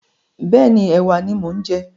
Bẹ́ẹ̀ni, ẹ̀wà ni mo ń jẹ.